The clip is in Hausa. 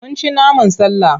Mun ci naman sallah.